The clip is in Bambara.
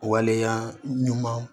Waleya ɲuman